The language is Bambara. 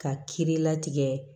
Ka kiiri la tigɛ